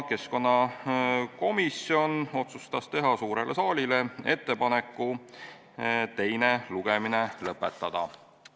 Keskkonnakomisjon otsustas teha suurele saalile ettepaneku teine lugemine lõpetada.